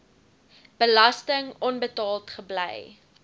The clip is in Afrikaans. belasting onbetaald gebly